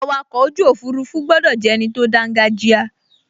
Awakọ̀ ojú òfurufú gbọdọ̀ jẹ́ ẹni tó dángájíá